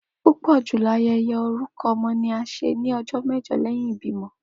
Pupọ julọ ayẹyẹ orukọ ọmọ ni a ṣe ni ọjọ mẹjọ lẹhin ibimọ.